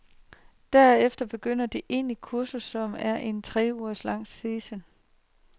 Derefter begynder det egentligekursus, som er en tre uger lang session.